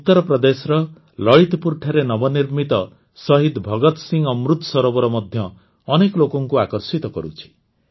ଉତ୍ତରପ୍ରଦେଶର ଲଳିତପୁରଠାରେ ନବନିର୍ମିତ ଶହୀଦ୍ ଭଗତ୍ ସିଂ ଅମୃତ ସରୋବର ମଧ୍ୟ ଅନେକ ଲୋକଙ୍କୁ ଆକର୍ଷିତ କରୁଛି